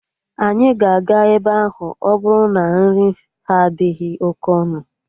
Anyị ga-aga ebe ahụ ọbụrụ na nri ha adịghị oke ọnụ